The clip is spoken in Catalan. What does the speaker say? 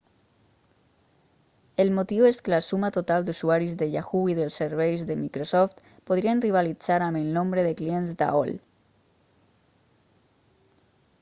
el motiu és que la suma total d'usuaris de yahoo i dels serveis de microsoft podrien rivalitzar amb el nombre de clients d'aol